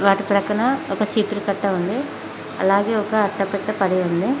వాటి ప్రక్కన ఒక చీపుర కట్ట ఉంది అలాగే ఒక అట్ట పట్టా పడి ఉంది.